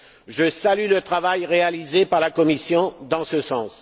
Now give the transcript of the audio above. Je salue le travail réalisé par la Commission dans ce sens.